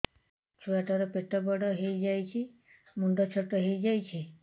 ଛୁଆ ଟା ର ପେଟ ବଡ ହେଇଯାଉଛି ମୁଣ୍ଡ ଛୋଟ ହେଇଯାଉଛି